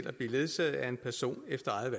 at blive ledsaget af en person efter eget